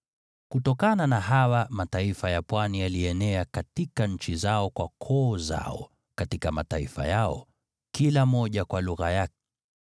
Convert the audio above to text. (Kutokana na hawa mataifa ya Pwani yalienea katika nchi zao, kwa koo zao katika mataifa yao, kila moja kwa lugha yake.)